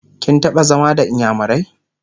kin taɓa zama da inyamurai?